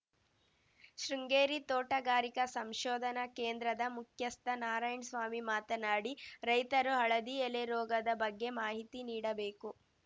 ಶೃಂಗೇರಿ ತೋಟಗಾರಿಕಾ ಸಂಶೋಧನಾ ಕೇಂದ್ರದ ಮುಖ್ಯಸ್ಥ ನಾರಾಯಣ್ ಸ್ವಾಮಿ ಮಾತನಾಡಿ ರೈತರು ಹಳದಿ ಎಲೆ ರೋಗದ ಬಗ್ಗೆ ಮಾಹಿತಿ ನೀಡಬೇಕು